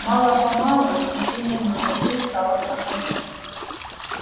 мало-помалу ощущение дурноты стало проходить